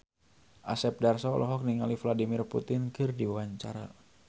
Asep Darso olohok ningali Vladimir Putin keur diwawancara